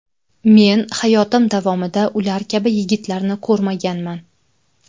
Men hayotim davomida ular kabi yigitlarni ko‘rmaganman.